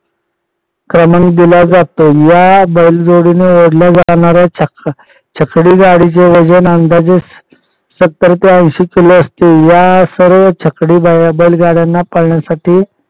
क्रमांक दिला जातो या बैलगाडीने ओढल्या जाणाऱ्या छकडी गाडीचे वजन अंदाजे सत्तर ते ऐंशी किलो असते या सर्व छकडी बैल गाडयांना पळण्यासाठी